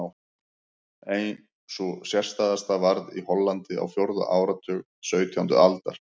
Ein sú sérstæðasta varð í Hollandi á fjórða áratug sautjándu aldar.